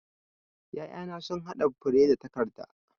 'Ya'yana sun haɗa fure da takarda.